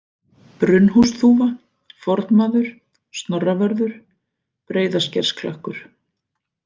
Brunnhúsþúfa, Fornmaður, Snorravörður, Breiðaskersklakkur